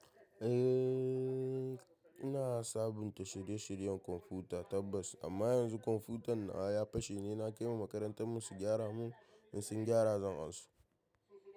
Eh, ina sabunta shirye-shiryen kwamfuta tabbas. Amma yanzu kwamfutan nawa ya fashe ne, na kaiwa makarantar mun su gyara mun, in sun gyara zan iso.